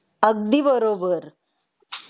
अगदी बरोबर